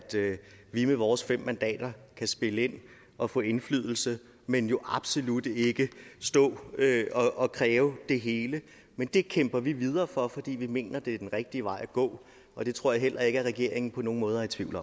vi med vores fem mandater kan spille ind og få indflydelse men jo absolut ikke kan stå og kræve det hele men det kæmper vi videre for fordi vi mener at det er den rigtige vej at gå og det tror jeg heller ikke at regeringen på nogen måde er i tvivl